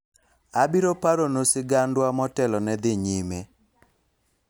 abiro paro nu sigandwa motelo ne dhi nyime